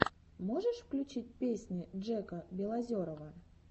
можешь включить песни джека белозерова